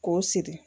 K'o siri